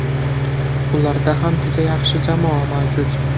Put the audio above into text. Ularda ham juda yaxshi jamoa mavjud.